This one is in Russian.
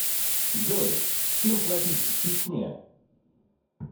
джой чем платить в чечне